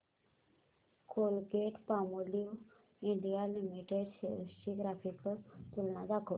Colgate Palmolive India limited shares ची graphical तुलना दाखव